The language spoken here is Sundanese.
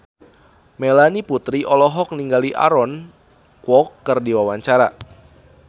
Melanie Putri olohok ningali Aaron Kwok keur diwawancara